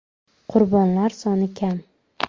Qurbonlar soni ham kam.